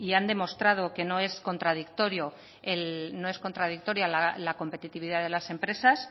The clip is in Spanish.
han demostrado que no es contradictoria la competitividad de las empresas